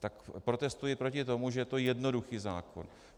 Tak protestuji proti tomu, že to je jednoduchý zákon.